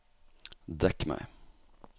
dekk meg